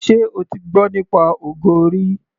Ṣé o ti gbọ́ nípa ogo rí.